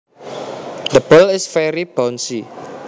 The ball is very bouncy